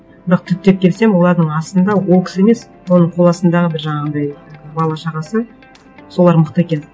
бірақ түптеп келсем олардың астында ол кісі емес оның қол астындағы бір жаңағындай бала шағасы солар мықты екен